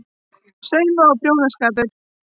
SAUMA- OG PRJÓNASKAPUR